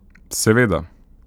Seveda.